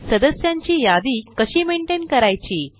सदस्यांची यादी कशी मेनटेन करायची